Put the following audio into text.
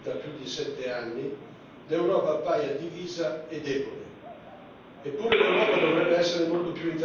che in merito al conflitto siriano, che dura ormai da più di sette anni, l'Europa appaia divisa e debole.